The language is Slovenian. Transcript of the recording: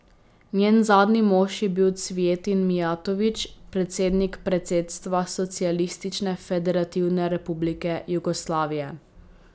Njen zadnji mož je bil Cvijetin Mijatović, predsednik predsedstva Socialistične federativne republike Jugoslavije.